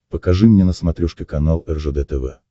покажи мне на смотрешке канал ржд тв